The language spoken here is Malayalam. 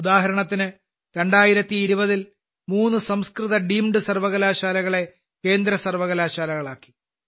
ഉദാഹരണത്തിന് 2020ൽ മൂന്ന് സംസ്കൃത ഡീംഡ് സർവ്വകലാശാലകളെ കേന്ദ്രസർവ്വകലാശാലകളാക്കി